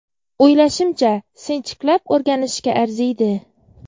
O‘ylashimcha, sinchiklab o‘rganishga arziydi.